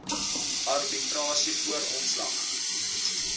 arbitrasie voor ontslag